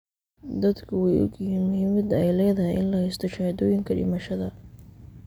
Dadku way ogyihiin muhiimadda ay leedahay in la haysto shahaadooyinka dhimashada.